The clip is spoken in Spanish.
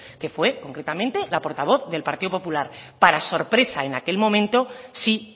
que fue concretamente la portavoz del partido popular para sorpresa en aquel momento sí